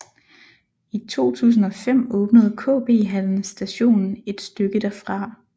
I 2005 åbnede KB Hallen Station et stykke derfra